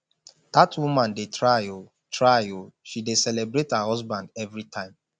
dat woman dey try oo try oo she dey celebrate her husband every time